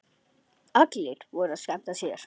Allir voru að skemmta sér.